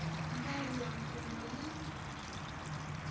nga ri ya mfumo yi